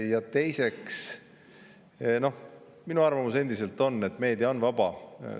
Ja teiseks, minu arvamus endiselt on, et meedia on vaba.